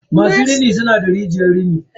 masu rini suna da rijiyar rini.